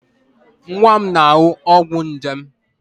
Nwa m na-aṅụ ọgwụ nje.